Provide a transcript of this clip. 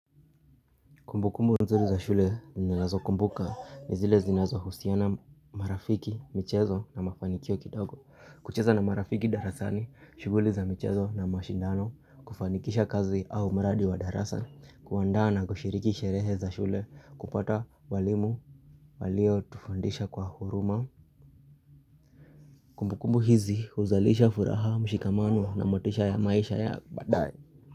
Kumbukumbu nzuri za shule nilazo kumbuka nizile zinazo husiona marafiki, michezo na mafanikio kitago. Kucheza na marafiki darasani, shuguli za michezo na mashindano, kufanikisha kazi au maradi wa darasa, kuanda na kushiriki sherehe za shule, kupata walimu, walio tufundisha kwa huruma. Kumbukumbu hizi uzalisha furaha, mshikamano na motisha ya maisha ya badae.